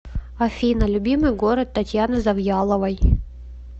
афина любимый город татьяны завьяловой